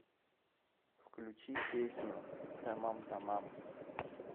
включи песню тамам тамам